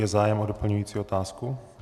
Je zájem o doplňující otázku?